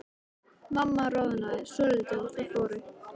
Mamma roðnaði svolítið og þau fóru.